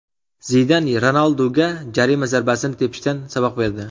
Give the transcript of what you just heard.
Zidan Ronalduga jarima zarbasini tepishdan saboq berdi.